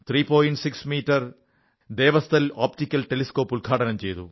6 metre Devasthal optical telescope ഉദ്ഘാടനം ചെയ്തു